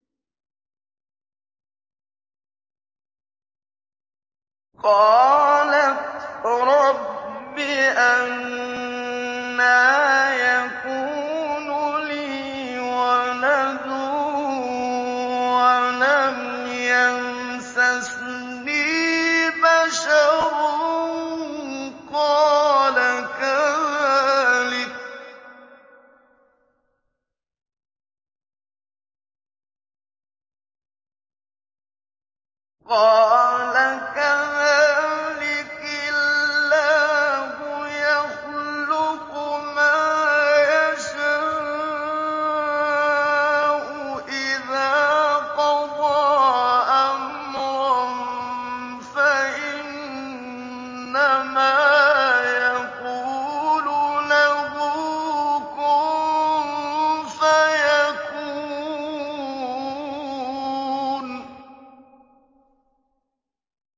قَالَتْ رَبِّ أَنَّىٰ يَكُونُ لِي وَلَدٌ وَلَمْ يَمْسَسْنِي بَشَرٌ ۖ قَالَ كَذَٰلِكِ اللَّهُ يَخْلُقُ مَا يَشَاءُ ۚ إِذَا قَضَىٰ أَمْرًا فَإِنَّمَا يَقُولُ لَهُ كُن فَيَكُونُ